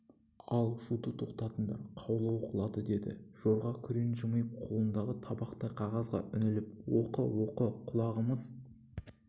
ал шуды тоқтатыңдар қаулы оқылады деді жорға күрең жымиып қолындағы табақтай қағазға үңіліп оқы оқы құлағымыз